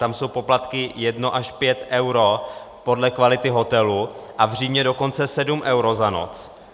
Tam jsou poplatky 1 až 5 eur podle kvality hotelu a v Římě dokonce 7 eur za noc.